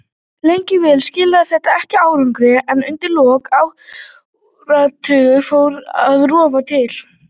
Lengi vel skilaði þetta ekki árangri en undir lok áratugarins fór að rofa til.